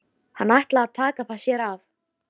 Hann ætlaði að taka það að sér.